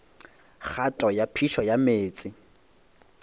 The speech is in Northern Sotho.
kgato ya phišo ya meetse